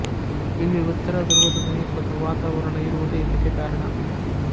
ಇಲ್ಲಿ ಉತ್ತರ ದ್ರುವದ ಸಮೀಪದ ವಾತಾವರಣ ಇರುವುದೇ ಇದಕ್ಕೆ ಕಾರಣ